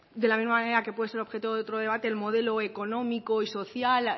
de la misma manera que puede ser objeto de otro debate el modelo económico y social